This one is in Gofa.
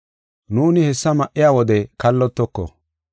Nuuni hessa ma7iya wode kallotoko.